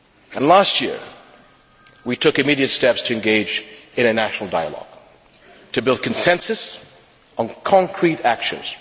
And last year we took immediate steps to engage in a national dialogue to build consensus on concrete actions.